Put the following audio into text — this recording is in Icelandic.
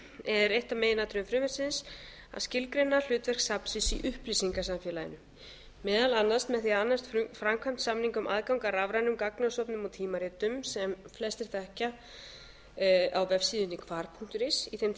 er eitt af meginatriðum frumvarpsins að skilgreina hlutverk safnsins í upplýsingasamfélaginu meðal annars með því annast framkvæmd samninga um aðgang að rafrænum gagnasöfnum og tímaritum sem flestir þekkja á vefsíðunni hvar punktur is í þeim